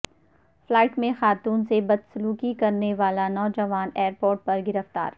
flight میں خاتون سے بدسلوکی کرنے والا نوجوان ایر پورٹ پر گرفتار